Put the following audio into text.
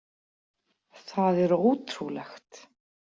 Það er ótrúlegt.